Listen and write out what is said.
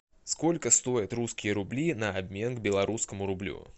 сколько стоят русские рубли на обмен к белорусскому рублю